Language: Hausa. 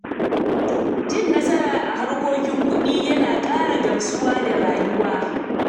Cin nasara a harkokin kuɗi yana ƙara gamsuwa da rayuwa.